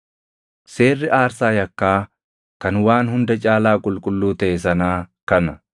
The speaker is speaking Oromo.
“ ‘Seerri aarsaa yakkaa kan waan hunda caalaa qulqulluu taʼe sanaa kana: